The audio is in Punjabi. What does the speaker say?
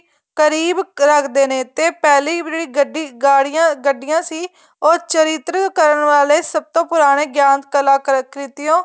ਕਰੀਬ ਰੱਖਦੇ ਨੇ ਤੇ ਪਹਿਲੇ ਜਿਹੜੀ ਗੱਡੀ ਗਾੜਿਆਂ ਗੱਡੀਆਂ ਸੀ ਉਹ ਚਰਿੱਤਰ ਕਰਨ ਵਾਲੇ ਸਭ ਤੋਂ ਪੁਰਾਣੇ ਗਿਆਨ ਕਲਾਂ ਕ੍ਰਿਤੀਹੋ